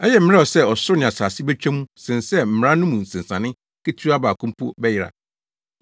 Ɛyɛ mmerɛw sɛ ɔsoro ne asase betwa mu sen sɛ mmara no mu nsensanee ketewa baako mpo bɛyera.